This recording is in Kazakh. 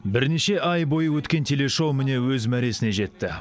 бірнеше ай бойы өткен телешоу міне өз мәресіне жетті